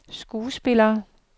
skuespillere